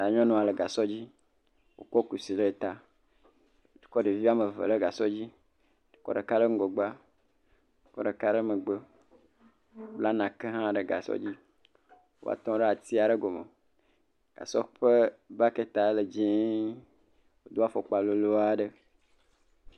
Nyɔnua le gasɔ dzi kɔ kusi ɖe ta. Wokɔ ɖevi ame ve ɖe gasɔ dzi. Kɔ ɖeka ɖe ŋgɔgbea. Kɔ ɖeka ɖe megbe. Bla neke hã ɖe gasɔ dzi va tɔ ɖe atri aɖe gɔme. Gasɔ ɔe bɔketia le dzie. Do afɔkpa lolo aɖe.